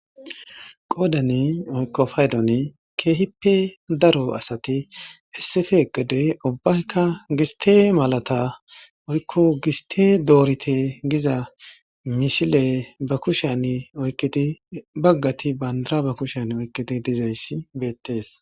Qoodani woyko paydoni keehipe daro asati, issipe eqqidi gistte malata woyko giste doorite giza malata be kusheni oykidi baggati bandira ba kushen oykidi dizaysi beetees.